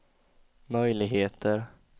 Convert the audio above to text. möjligheter